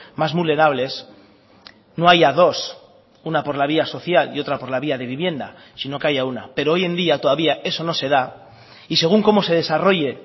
más vulnerables no haya dos una por la vía social y otra por la vía de vivienda sino que haya una pero hoy en día todavía eso no se da y según cómo se desarrolle